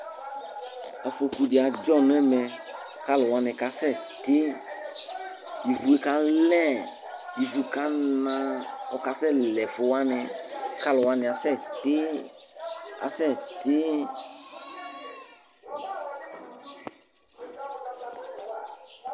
Afoku di adzɔ nʋ ɛmɛ kʋ alu wani asɛti Ivʋ ye kalɛ, ivʋ kana kʋ ɔkasɛ lɛ ɛfu wani kʋ alu wani asɛti asɛti